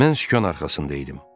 Mən sükan arxasında idim.